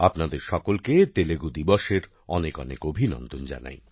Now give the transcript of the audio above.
আপনাদের সকলকে তেলুগু দিবসের অনেকঅনেক অভিনন্দন জানাই